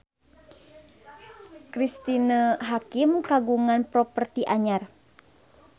Cristine Hakim kagungan properti anyar